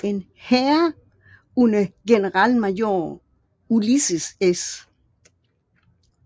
En hær under generalmajor Ulysses S